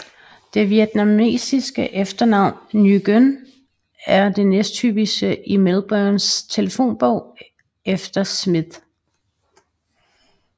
Det vietnamesiske efternavn Nguyen er det næsthyppigste i Melbournes telefonbog efter Smith